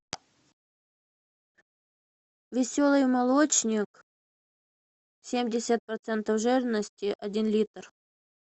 веселый молочник семьдесят процентов жирности один литр